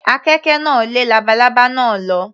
Àkekè náà lé labalábá náà lọ.